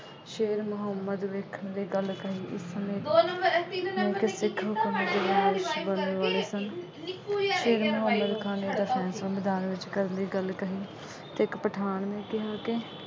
ਸ਼ੇਰ ਮੁਹੰਮਦ ਵੇਖਣ ਨੇ ਇਹ ਗੱਲ ਕਹੀ